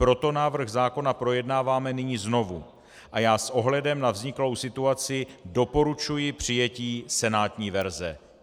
Proto návrh zákona projednáváme nyní znovu a já s ohledem na vzniklou situaci doporučuji přijetí senátní verze.